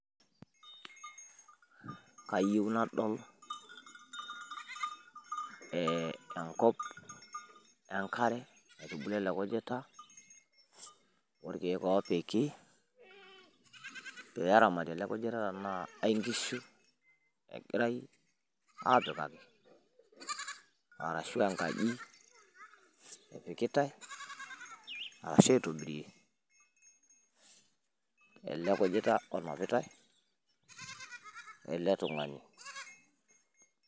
Kayieuu nadol enkop enkare naitubulua elee kujiita, okeek opiki ,peramati elee kujiita tenaa kankishu egirai apikaaki arashu enkaji epikitaii ,arashu aitobirie elee kujita onapitai ele tungani.